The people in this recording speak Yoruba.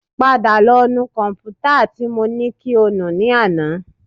Padà lọ nu kọ̀m̀pútà tí mo ní kí o nù ní àná